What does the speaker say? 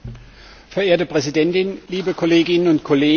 Frau Präsidentin, liebe Kolleginnen und Kollegen!